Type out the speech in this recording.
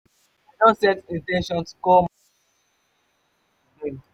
i dey set in ten tion to call my family and catch up with dem.